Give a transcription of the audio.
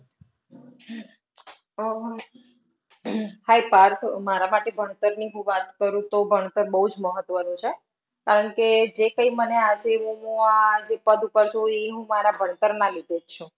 આહ Hi Parth, મારા માટે ભણતરની હું વાત કરું તો ભણતર બહું જ મહત્વનું છે કારણ કે જે કાંઈ મને આજે હું આ જે પદ પર છું એ ભણતરના લીધે જ છું